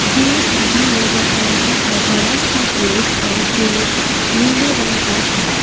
Gate भी नजर आ रहा है बड़ा सा गेट है जो नीले रंग का है।